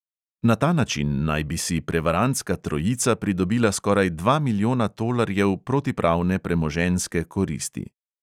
Na ta način naj bi si prevarantska trojica pridobila skoraj dva milijona tolarjev protipravne premoženjske koristi.